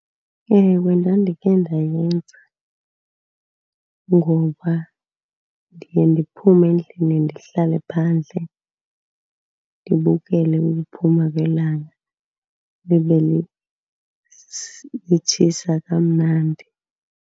Ewe, ndandikhe ndayenza. Ngoba ndiye ndiphume endlini ndihlale phandle ndibukele ukuphuma kwelanga, libe litshisa kamnandi.